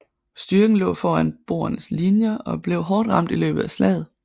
Styrken lå foran boernes linjer og blev hårdt ramt i løbet af slaget